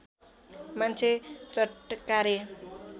मान्छे चटकारे